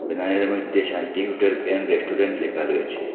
মইধ্যে Shanti hotel and restaurant লেখা রয়েছে।